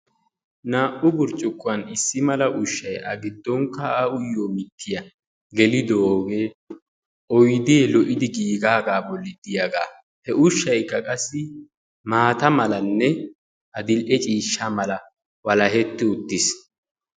Naa''u burccukkuwan issi mala ushshay agidonkka A uyiyo mittiya gelidoogee oydee lo''idi giigaagaa bolli de'iyagaa. He ushaykka qassi maata malanne adil''e ciishsha mala walaketti uttiis.